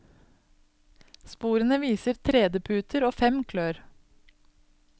Sporene viser tredeputer og fem klør.